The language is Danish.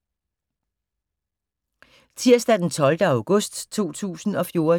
Tirsdag d. 12. august 2014